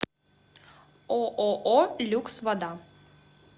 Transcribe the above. ооо люкс вода